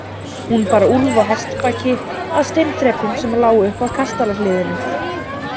Hún bar Úlf á hestbaki að steinþrepum sem lágu upp að kastalahliðinu.